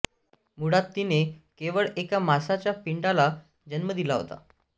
मुळात तिने केवळ एका मासांच्या पिंडाला जन्म दिला होता